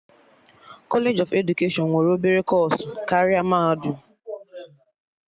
Kọlej of edukeshọn nwere obere kọọsụ karịa mahadum